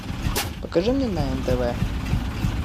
покажи мне на нтв